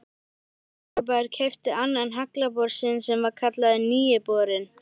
Reykjavíkurbær keypti annan haglabor sinn sem var kallaður Nýi borinn.